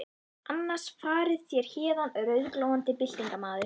Annars farið þér héðan rauðglóandi byltingarmaður.